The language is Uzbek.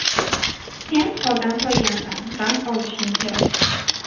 Sen holdan toygansan, dam olishing kerak.